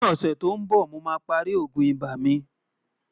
ní ọ̀sè tó ǹ bó, mò má pá rí ògún ibà mí